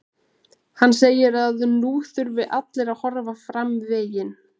Hann segir að nú þurfi allir að horfa fram veginn.